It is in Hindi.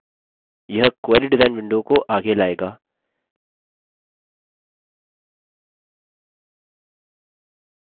यह query डिज़ाइन window को आगे लाएगा